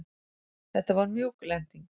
Þetta var mjúk lending.